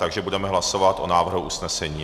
Takže budeme hlasovat o návrhu usnesení.